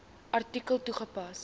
artikel toegepas